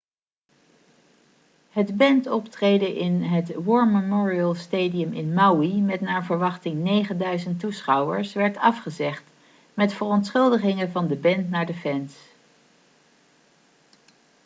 het bandoptreden in het war memorial stadium in maui met naar verwachting 9000 toeschouwers werd afgezegd met verontschuldigingen van de band naar de fans